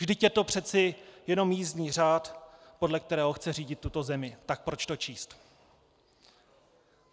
Vždyť je to přece jenom jízdní řád, podle kterého chce řídit tuto zemi, tak proč to číst?